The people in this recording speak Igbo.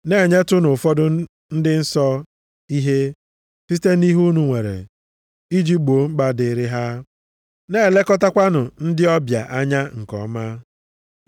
Na enyetụnụ ụfọdụ ndị nsọ + 12:13 Ndị nke Onyenwe anyị ihe site nʼihe unu nwere iji gboo mkpa dịrị ha. Na-elekọtakwanụ ndị ọbịa anya nke ọma.